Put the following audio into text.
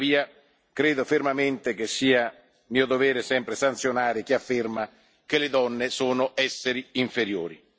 Tuttavia, credo fermamente che sia mio dovere, sempre, sanzionare chi afferma che le donne sono esseri inferiori.